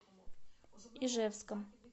ижевском